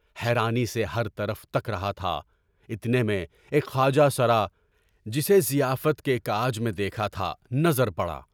حیرانی سے ہر طرف تک رہا تھا، اتنے میں ایک خواجہ سرا (جسے ضیافت کے کام میں دیکھا تھا) نظر آیا۔